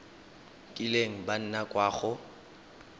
kileng ba nna kwa go